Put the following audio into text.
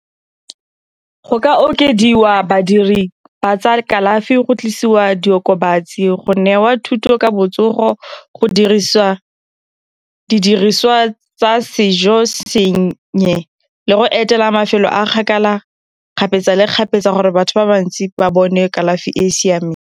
go ka okediwa badiri ba tsa kalafi, go tlisiwa diokobatsi, go newa thuto ka botsogo, go dirisa didiriswa tsa sejo le go etela mafelo a kgakala kgapetsa le kgapetsa gore batho ba bantsi ba bone kalafi e e siameng.